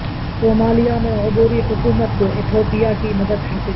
Somalia میں عبوری حکومت کو ایتھوپیا کی مدد حاصل ہے